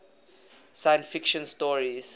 science fiction stories